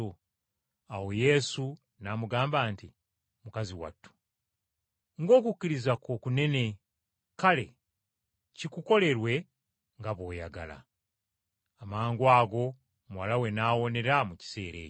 Awo Yesu n’amugamba nti, “Mukazi watu, ng’okukkiriza kwo kunene! Kale kikukolerwe nga bw’oyagala.” Amangwago muwala we n’awonera mu kiseera ekyo.